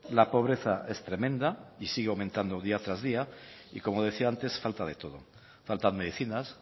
la pobreza es tremenda y sigue aumentando día tras día y como decía antes falta de todo faltan medicinas